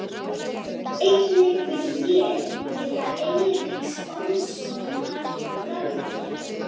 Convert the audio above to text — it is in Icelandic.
Einnig vil ég geta Eiríks Ormssonar rafvirkja.